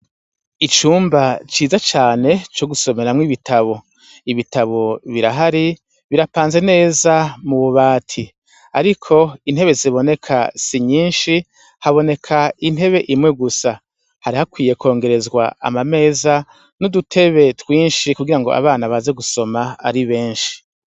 Icumba ciza cane co gusomeramwo ibitabu. Ibitabu birahari, birapanze neza mu bubati. Ariko intebe ziboneka si nyinshi, haboneka intebe imwe gusa. Hari hakwiye kwongerezwa amameza n'udutebe twinshi kugira ngo abana baze gusoma ari benshi.